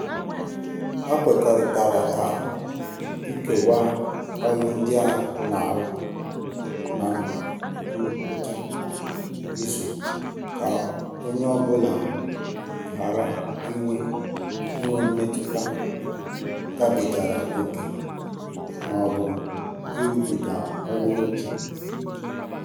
Ha kwekọrịtara ka ikewaa ọlụ ndị a na-arụ ná ngwụcha izu ka onye ọ bụla ghara inwe inwe mmetụta gabigara ókè ma ọ bụ ịrụbiga ọlụ ókè.